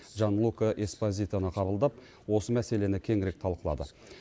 джанлука эспозитоны қабылдап осы мәселені кеңірек талқылады